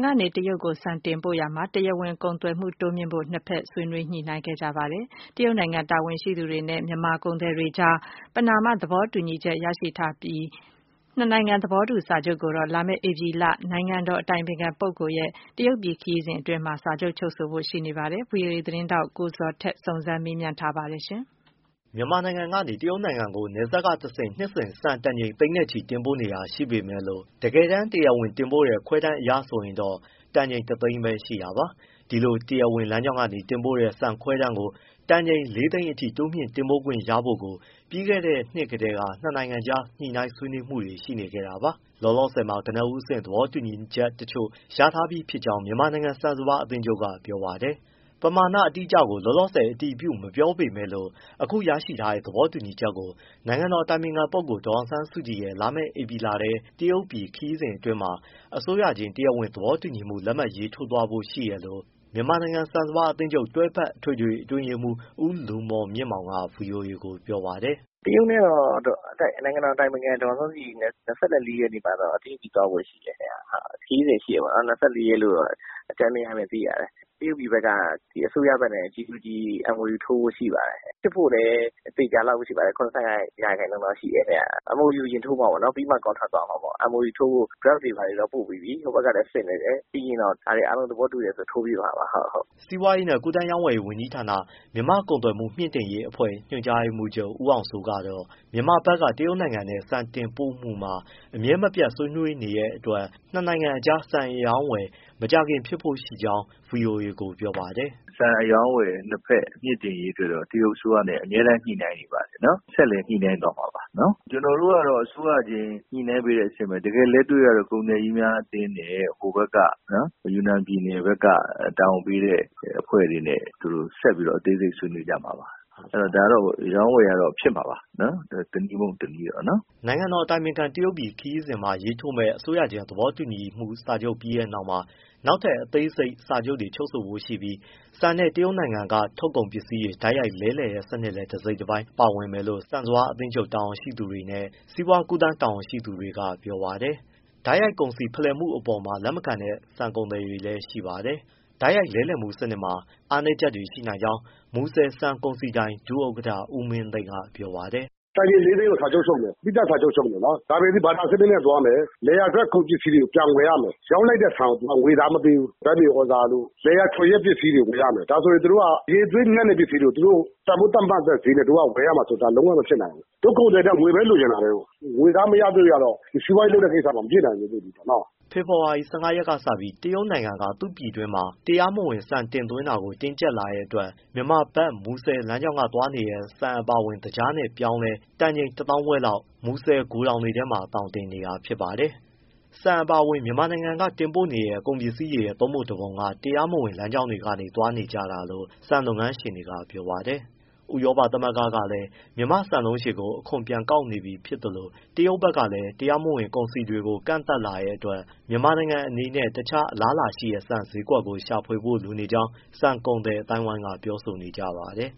ကနေ တရုတ်ကို ဆန်တင်ပို့ရာမှာ တရားဝင် ကုန်သွယ်မှုတိုးမြှင့်ဖို့ နှစ်ဖက် ဆွေးနွေးညှိုနှိုင်းခဲ့ကြပါတယ်။ တရုတ်နိုင်ငံ တာဝန်ရှိသူတွေနဲ့ မြန်မာကုန်သည်တွေအကြား ပဏာမ သဘောတူညီချက်ရထားပြီး၊ နှစ်နိုင်ငံ သဘောတူစာချုပ်ကိုတော့ လာမယ့် ဧပြီလ နိုင်ငံတော်အတိုင်ပင်ခံပုဂ္ဂိုလ် ရဲ့ တရုတ်ပြည်ခရီးစဉ်အတွင်းမှာ ချုပ်ဆိုဖို့ ရှိနေပါတယ်။ ဗွီအိုအေ သတင်းထောက် ကိုဇော်ထက် စုံစမ်းမေးမြန်းထားတာပါ။ မြန်မာနိုင်ငံကနေ တရုတ်နိုင်ငံကို နယ်စပ်ကနေတဆင့် နှစ်စဉ် ဆန်တန်ချိန် သိန်းနဲ့ချီ တင်ပို့နေတာရှိပေမယ့်လို့ တကယ်တမ်း တရားဝင်တင်ပို့တဲ့ ခွဲတမ်းအရဆိုရင်တော့ တန်ချိန် တသိန်းပဲ ရှိတာပါ။ ဒီလို တရားဝင်လမ်းကြောင်းကနေ တင်ပို့တဲ့ ဆန်ခွဲတမ်းကို တန်ချိန် လေးသိန်းအထိ တိုးမြှင့် တင်ပို့ခွင့်ရဖို့ကိုတော့ ပြီးခဲ့တဲ့နှစ်ကတည်းက နှစ်နိုင်ငံကြား ညှိနှိုင်းဆွေးနွေးမှုတွေ ရှိနေခဲ့တာပါ။ လောလောဆယ်မှာ ကနဦးအဆင့် သဘောတူညီချက်တချို့ ရထားပြီးဖြစ်ကြောင်း မြန်မာနိုင်ငံ ဆန်စပါး အသင်းချုပ်က ပြောပါတယ်။ ပမာဏ အတိအကျကို လောလောဆယ် အတည်ပြု မပြောပေမဲ့လို့ အခုရရှိထားတဲ့ သဘောတူညီချက်ကို နိုင်ငံတော်အတိုင်ပင်ခံပုဂ္ဂိုလ် ဒေါ်အောင်ဆန်းစုကြည်ရဲ့ လာမယ့်ဧပြီလထဲ တရုတ်ပြည်ခရီးစဉ်အတွင်းမှာ အစိုးရချင်း တရားဝင် သဘောတူညီမှု လက်မှတ်ရေးထိုး သွားဖို့ရှိတယ်လို့ မြန်မာနိုင်ငံဆန်စပါးအသင်းချုပ် တွဲဖက်အထွေထွေအတွင်းရေးမှူး ဦးလူမော်မြင့်မောင် က ဗွီအိုအေကို ပြောပါတယ်။ “တရုတ်နဲ့တော့ နိုင်ငံတော်အတိုင်ပင်ခံ ဒေါ်အောင်ဆန်းစုကြည်နဲ့ ၂၄ရက်မှာတော့ တရုတ်ပြည် သွားဖို့ရှိတယ်ဗျ။ ၂၄ရက်လို့တော့ အကြမ်းဖျင်းသိရတယ်။ တရုတ်ပြည်ဘက်က အစိုးရဘက်နဲ့ G to G အစိုးရချင်း သဘောတူလက်မှတ် ထိုးဖို့ရှိပါတယ်။ ဖြစ်ဖို့လည်း သေချာသလောက်ရှိပါတယ်။ ၇၅% တော့ရှိတယ်ဗျ MOU အရင်ထိုးမှာပေါ့နော်။ ပြီးမှ contract သွားမှာပေါ့။ MOU ထိုးဖို့ draft တွေဘာတွေပို့ပြီးပြီ ဟိုဘက်ကလည်း စစ်နေတယ် ပြီးရင်တော့ ဒါတွေအားလုံးသဘောတူရင်တော့ ထိုးဖြစ်မှာပါ။” စီးပွားရေးနှင့် ကူးသန်းရောင်းဝယ်ရေးဝန်ကြီးဌာန၊ မြန်မာ့ကုန်သွယ်မှု မြှုင့်တင်ရေးအဖွဲ့ ညွှန်ချုပ် ဦးအောင်စိုးကတော့ မြန်မာဘက်က တရုတ်နိုင်ငံနဲ့ ဆန်တင်ပို့မှုမှာ အမြဲမပြတ်ဆွေးနွေးနေတဲ့အတွက် နှစ်နိုင်ငံကြား ဆန်အရောင်းအဝယ် မကြာခင်ဖြစ်ဖို့ရှိကြောင်း ဗွီအိုအေကိုပြောပါတယ်။ “ဆန်အရောင်းအဝယ် နှစ်ဖက်မြှင့်တင်ရေး အတွက်တော့ တရုတ်အစိုးရနဲ့ အမြဲတမ်းညှိနှိုင်း နေပါတယ်နော်။ ဆက်လည်းညှိနှိုင်းသွားမှာပါ။ ကျနော်တို့ ကတော့ အစိုးရချင်းညှိနှိုင်းပေးတဲ့အဆင့်ပဲ တကယ်လက်တွေ့ကတော့ ကုန်သည်ကြီးများအသင်းနဲ့ ဟိုဘက်က ယူနန်ပြည်နယ်ဘက်က တာဝန်ပေးတဲ့ အဖွဲ့တွေနဲ့ သူတို့ဆက်ပြီး အသေးစိတ်ဆွေးနွေးကြမှာပါ။ ဒါကတော့ အရောင်းအဝယ်ကတော့ ဖြစ်မှာပါ တနည်းမဟုတ် တနည်းကတော့။” နိုင်ငံတော်အတိုင်ပင်ခံ တရုတ်ပြည်ခရီးစဉ်မှာရေးထိုးမယ့် အစိုးရချင်းသဘောတူညီမှု စာချုပ်ပြီးတဲ့နောက်မှာ နောက်ထပ်အသေးစိတ် စာချုပ်တွေ ချုပ်ဆိုဖို့ရှိပြီး ဆန်နဲ့ တရုတ်နိုင်ငံက ထုတ်ကုန်ပစ္စည်း တိုက်ရိုက်လဲလှယ်တဲ့စနစ်လည်း တစိတ်တပိုင်းပါဝင်မယ်လို့ ဆန်စပါး အသင်းချုပ်တာဝန်ရှိသူတွေနဲ့ စီးပွားကူးသန်းတာဝန်ရှိသူတွေကပြောပါတယ်။ တိုက်ရိုက်ကုန်စည်ဖလှယ်မှုအပေါ်မှာ လက်မခံတဲ့ ဆန်ကုန်သည်တွေလည်းရှိပါတယ်။ တိုက်ရိုက်လဲလှယ်မှုစနစ်မှာ အားနည်းချက်တွေရှိနိုင်ကြောင်း မူဆယ်ဆန်ကုန်စည်ဒိုင် ဒုဥက္ကဋ္ဌ ဦးမင်းသိန်းက ပြောပါတယ်။ “တန်ချိန်လေးသိန်းကို စာချုပ်ချုပ်မယ် အပြီးသတ်စာချုပ်ချုပ်မယ်၊ ဒါပေမယ့် ဘာတာစနစ် နဲ့သွားမယ်။ လယ်ယာထွက် ကုန်ပစ္စည်းတွေကို ပြန်ဝယ်ရမယ် ရောင်းလိုက်တဲ့ဆန်ကို သူက ငွေသားမပေးဘူး ဓာတ်မြေသြဇာတို့ လယ်ယာထွန်ယက် ပစ္စည်းတွေ ပြန်ဝယ်ရမယ် ဒါဆိုရင်သူတို့က အရည်အသွေးညံ့တဲ့ပစ္စည်တွေကို သူတို့တန်ဖိုးသတ်မှတ်တဲ့ ဈေးနဲ့ တို့ကဝယ်ရမှာဆို လုံးဝမဖြစ်နိုင်ဘူး။ တို့ကုန်သည်တွေက ငွေပဲလိုချင်တာပဲကို။ ငွေသားမရသရွေ့ကတော့ စီးပွားရေးလုပ်တဲ့ကိစ္စမှာ မဖြစ်နိုင်ဘူးထင်တယ်နော့။” အခုဆိုရင် ဖေဖော်ဝါရီ ၁၅ ရက်ကစပြီး တရုတ်နိုင်ငံက သူ့ပြည်တွင်းမှာ တရားမဝင် ဆန်တင်သွင်းတာကို တင်းကျပ်လာတဲ့အတွက် မြန်မာဘက် မူဆယ် လမ်းကြောင်းက သွားနေတဲ့ ဆန်အပါအဝင် သကြားနဲ့ ပြောင်းလည်း တန်ချိန် တသောင်းခွဲလောက် မူဆယ်ဂိုထောင်တွေထဲမှာ သောင်တင်နေပါတယ်။ ဆန်အပါအဝင် မြန်မာနိုင်ငံက တင်ပို့နေတဲ့ကုန်ပစ္စည်းတွေရဲ့ သုံးပုံ တပုံက တရားမဝင်လမ်းကြောင်းတွေကနေ သွားကြတာလို့ ဆန်လုပ်ငန်းရှင်တွေက ပြောပါတယ်။ ဥရောပသမဂ္ဂကလည်း မြန်မာ့ဆန်လုံးရှည်ကို အခွန်ပြန် ကောက်နေပြီဖြစ်သလို တရုတ်ဘက်ကလည်း တရားမဝင်ကုန်စည်တွေကို ကန့်သတ်လာတဲ့အတွက် မြန်မာနိုင်ငံအနေနဲ့ တခြားအလားအလာရှိတဲ့ ဆန်ဈေးကွက်ကို တိုးမြှှုင့်ရှာဖွေဖို့ လိုနေကြောင်း ဆန်ကုန်သည်အသိုင်းအဝန်းက ပြောဆိုနေကြပါတယ်။